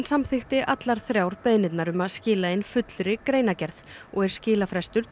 samþykkti allar þrjár beiðnirnar um að skila inn fullri greinargerð og er skilafrestur